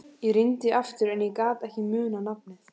Ég reyndi aftur en ég gat ekki munað nafnið.